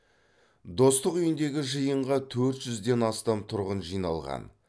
достық үйіндегі жиынға төрт жүзден астам тұрғын жиналған